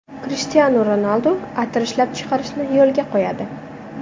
Krishtianu Ronaldu atir ishlab chiqarishni yo‘lga qo‘yadi.